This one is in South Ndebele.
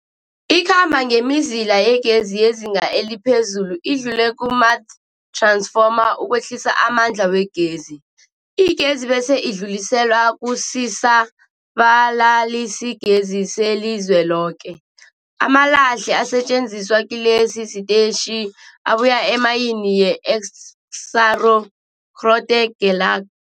Ikhamba ngemizila yegezi yezinga eliphezulu idlule kumath-ransfoma ukwehlisa amandla wegezi. Igezi bese idluliselwa kusisa-balalisigezi selizweloke. Amalahle asetjenziswa kilesi sitetjhi abuya emayini yeExxaro's Grootegeluk.